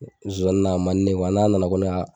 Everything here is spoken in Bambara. Zowani na a man di ne ye n'a nana ko ne ka